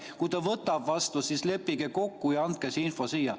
Kui ta võtab vastu, siis leppige kokku ja andke see info siia.